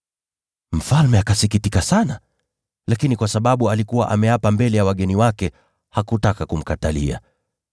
Mfalme akasikitika sana, lakini kwa sababu alikuwa ameapa viapo mbele ya wageni wake, hakutaka kumkatalia.